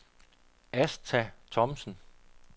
Asta Thomsen